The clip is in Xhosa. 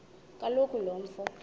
kaloku lo mfo